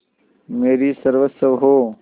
मेरी सर्वस्व हो